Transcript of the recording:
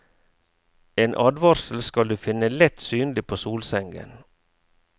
En advarsel skal du finne lett synlig på solsengen.